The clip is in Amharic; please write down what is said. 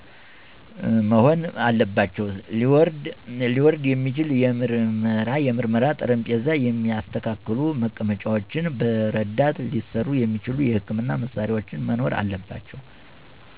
መሆን አለባቸው። ሊወርድ የሚችል የምርመራ ጠረጴዛ፣ የሚስተካከሉ መቀመጫዎች፣ በረዳት ሊሠሩ የሚችሉ የሕክምና መሳሪያዎች መኖር አለባቸው።